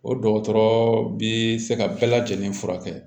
O dɔgɔtɔrɔ bɛ se ka bɛɛ lajɛlen furakɛ